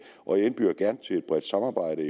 og jeg indbyder gerne til et bredt samarbejde